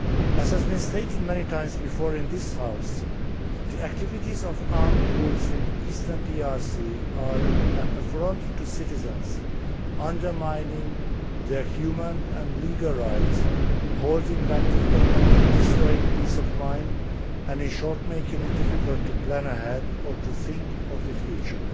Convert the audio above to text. As has been stated many times before in this House, the activities of armed groups in eastern DRC are an affront to citizens, undermining their human and legal rights, holding back development, destroying peace of mind and, in short, making it difficult to plan ahead or to think of the future.